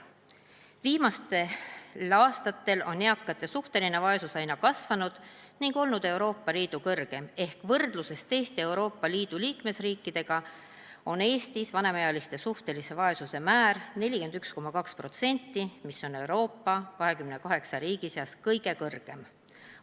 Viimastel aastatel on eakate suhteline vaesus aina kasvanud ning olnud Euroopa Liidu suurim ehk võrdluses teiste Euroopa Liidu liikmesriikidega on Eestis vanemaealiste suhtelise vaesuse määr 41,2%, mis on Euroopa Liidu 28 riigi seas kõige kõrgem.